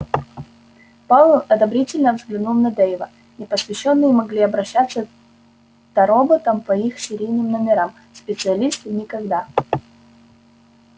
пауэлл одобрительно взглянул на дейва непосвящённые могли обращаться та роботам по их серийным номерам специалисты никогда